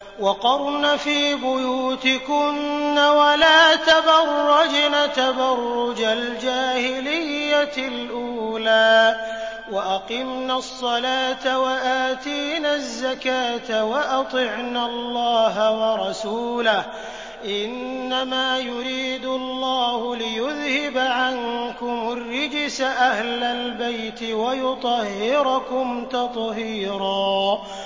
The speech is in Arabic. وَقَرْنَ فِي بُيُوتِكُنَّ وَلَا تَبَرَّجْنَ تَبَرُّجَ الْجَاهِلِيَّةِ الْأُولَىٰ ۖ وَأَقِمْنَ الصَّلَاةَ وَآتِينَ الزَّكَاةَ وَأَطِعْنَ اللَّهَ وَرَسُولَهُ ۚ إِنَّمَا يُرِيدُ اللَّهُ لِيُذْهِبَ عَنكُمُ الرِّجْسَ أَهْلَ الْبَيْتِ وَيُطَهِّرَكُمْ تَطْهِيرًا